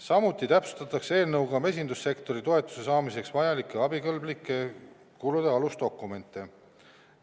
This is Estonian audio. Samuti täpsustatakse eelnõuga mesindussektori toetuse saamiseks vajalikke abikõlblike kulude alusdokumente.